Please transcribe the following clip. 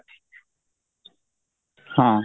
ହଁ